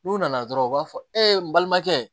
N'u nana dɔrɔn u b'a fɔ e balimakɛ